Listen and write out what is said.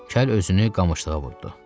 Kəl özünü qamışlığa vurdu.